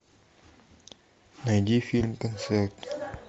найди фильм концерт